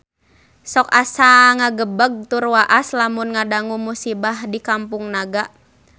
Sok asa ngagebeg tur waas lamun ngadangu musibah di Kampung Naga